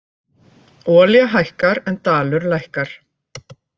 Olía hækkar en dalur lækkar